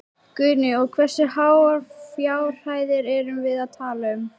Guðný: Og hversu háar fjárhæðir erum við að tala um?